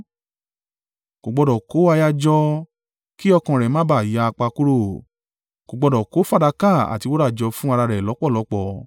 Kò gbọdọ̀ kó aya jọ, kí ọkàn rẹ̀ má bá a yapa kúrò. Kò gbọdọ̀ kó fàdákà àti wúrà jọ fún ara rẹ̀ lọ́pọ̀lọ́pọ̀.